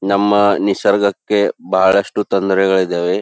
ನಮ್ಮ ನಿಸರ್ಗಕ್ಕೆ ಬಹಳಷ್ಟು ತೊಂದರೆಗಳು ಇದವೆ.